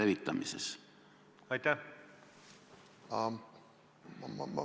Mille eest ma vabandama peaksin?